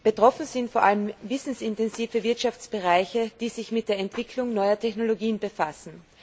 Betroffen sind vor allem wissensintensive Wirtschaftsbereiche, die sich mit der Entwicklung neuer Technologien befassen.